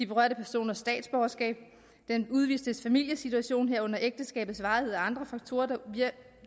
berørte persons statsborgerskab den udvistes familiesituation herunder ægteskabets varighed og andre faktorer